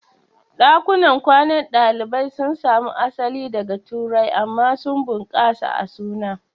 Ɗakunan kwanan ɗalibai sun samo asali daga Turai amma sun bunƙasa a suna.